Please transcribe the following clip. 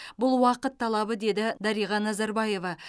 бұл уақыт талабы деді дариға назарбаева